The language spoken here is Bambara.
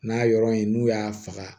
N'a yɔrɔ in n'u y'a faga